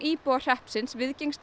íbúar hreppsins